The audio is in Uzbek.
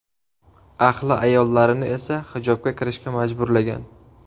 Ahli ayollarini esa hijobga kirishga majburlagan.